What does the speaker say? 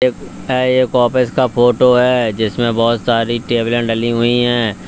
एक यह एक ऑफिस का फोटो है जिसमें बहोत सारी टेबले डली हुई है।